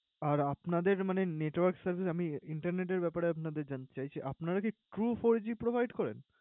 আর আপনাদের মানে network service আমি internet এর ব্যাপারে আপনাদের জানতে চাই যে, আপনারা কি true four g provide করেন?